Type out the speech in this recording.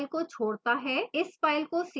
इस file को save करें